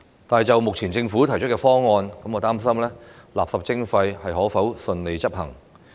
但是，就目前政府提出的方案，我擔心垃圾徵費可否順利執行。